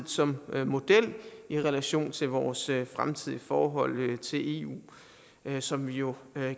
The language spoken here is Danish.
som model i relation til vores fremtidige forhold til eu som vi jo